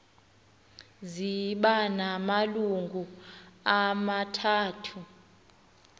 ziba namalungu amathathu